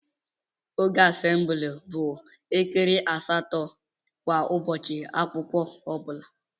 Oge assemble bụ elekere asatọ kwa Ụbọchị akwụkwọ ọbula.